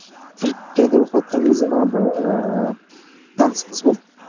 түркияда оқыватқан кезде маған бір ыыы таныс қыз болды